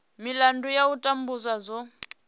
milandu ya u tambudzwa dzo